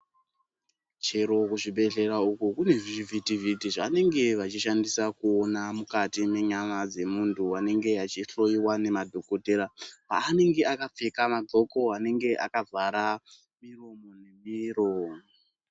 Chero kuzvibhedhlera uko kune zvivhiti vhiti zvavanenge vachishandisa kuona mukati mwenyama dzemunhu anenge achihloiwa nemadhokodheya pavanenge akapfeka magoko anenge akavhara muromo nemiro.